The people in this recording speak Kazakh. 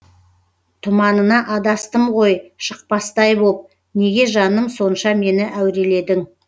тұманына адастым ғой шықпастай боп неге жаным сонша мені әуреледің